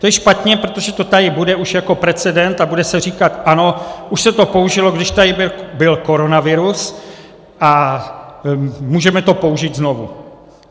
To je špatně, protože to tady bude už jako precedent a bude se říkat: ano, už se to použilo, když tady byl koronavirus, a můžeme to použít znovu.